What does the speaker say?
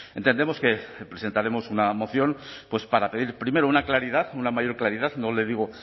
entendemos que presentaremos una moción para pedir primero una claridad una mayor claridad no le digo